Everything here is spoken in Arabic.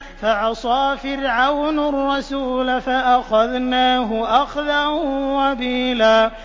فَعَصَىٰ فِرْعَوْنُ الرَّسُولَ فَأَخَذْنَاهُ أَخْذًا وَبِيلًا